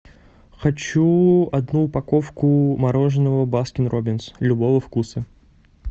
хочу одну упаковку мороженного баскин роббинс любого вкуса